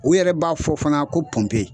U yɛrɛ b'a fɔ fana ko pɔnpe